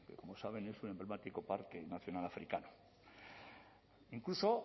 que como saben es un emblemático parque nacional africano incluso